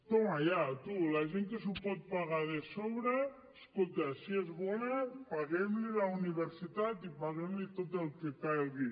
toma ya tú la gent que s’ho pot pagar de sobres escolta si és bona paguem li la universitat i paguem li tot el que calgui